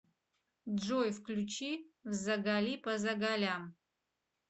джой включи взагалипозагалям